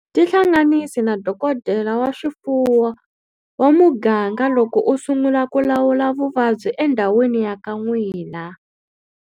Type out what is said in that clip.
Tihlanganisi na dokodela wa swifuwo wa muganga loko u sungula ku lawula vuvabyi endhawini ya ka n'wina.